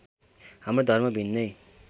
हाम्रो धर्म भिन्नै